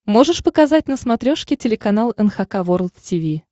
можешь показать на смотрешке телеканал эн эйч кей волд ти ви